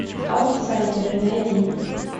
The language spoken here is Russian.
аутсайдеры найди